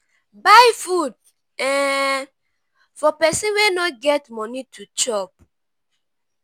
buy food um for pesin wey no get moni to chop.